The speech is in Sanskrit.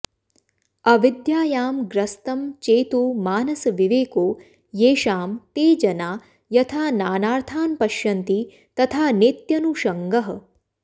अविद्यायां ग्रस्तं चेतो मानसविवेको येषां ते जना यथा नानार्थान्पश्यन्ति तथा नेत्यनुषङ्गः